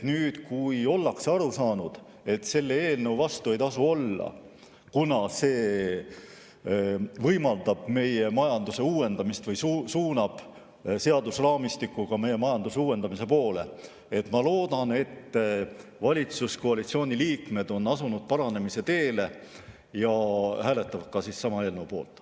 Nüüd, kui ollakse aru saanud, et selle eelnõu vastu ei tasu olla, kuna see võimaldab meie majanduse uuendamist või suunab seadusraamistikuga meie majandust uuendamise poole, siis ma loodan, et valitsuskoalitsiooni liikmed on asunud paranemise teele ja hääletavad selle eelnõu poolt.